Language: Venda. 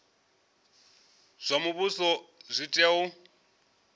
zwa muvhuso zwi tea u